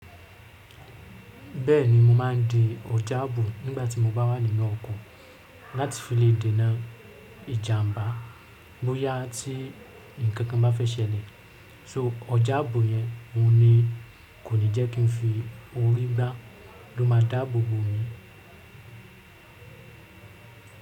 Bẹ́ẹ̀ni, mo máa ń di ọ̀jábù nígbà tí mo bá wà nínú ọkọ̀ láti fi lè dènà ìjàmbá bóyá tí ǹkan kan bá fẹ́ ṣẹlẹ̀. So ọ̀jábù yẹn, ohun ni, kò ní jẹ́ kí n fi orí gbá ló máa dáàbò bo mi.